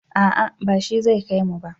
a'a ba shi zai kaimu ba